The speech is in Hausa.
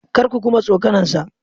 Kar ku kuma tsokanarsa!